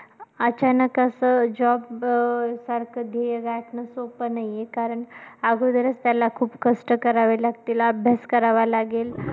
अचानक असं job अं सारखं ध्येय गाठणं सोपं नाहीये, कारण अगोदरचं त्याला खूप कष्ट करावे लागतील, अभ्यास करावा लागेल.